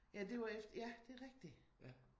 Ja det var efter ja det er rigtigt